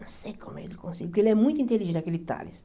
Não sei como ele conseguiu, porque ele é muito inteligente, aquele Tales.